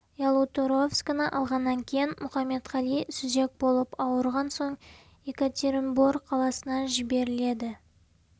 ялуторовскіні алғаннан кейін мұқаметқали сүзек болып ауырған соң екатеринбор қаласына жіберіледі